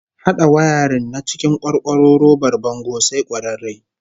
Hada wayarin na cikin kwarkwaro robar bango sai kwararre